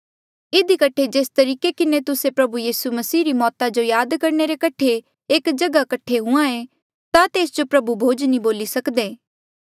इधी कठे जेस तरीके किन्हें तुस्से प्रभु यीसू री मौता जो याद करणे रे कठे एक जगहा कठे हुंहां ऐें ता तेस जो प्रभु भोज नी बोली सकदे